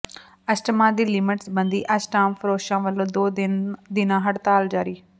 ਅਸ਼ਟਾਮਾਂ ਦੀ ਲਿਮਟ ਸਬੰਧੀ ਅਸ਼ਟਾਮ ਫਰੋਸ਼ਾਂ ਵੱਲੋਂ ਦੋ ਦਿਨਾ ਹੜਤਾਲ ਜਾਰੀ